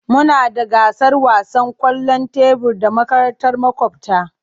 Muna da gasar wasan kwallon tebur da makarantar makwabta.